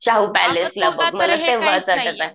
शाहू पॅलेसला मला तेंव्हा